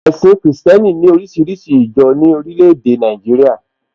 Ẹ̀sìn kìrìsìtẹ́nì ní oríṣiríṣi ìjọ ní orílẹ̀ èdè Nàìjíríà